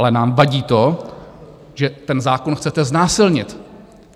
Ale nám vadí to, že ten zákon chcete znásilnit.